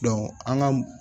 an ka